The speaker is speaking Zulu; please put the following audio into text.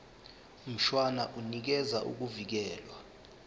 mshwana unikeza ukuvikelwa